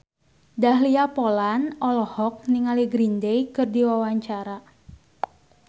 Dahlia Poland olohok ningali Green Day keur diwawancara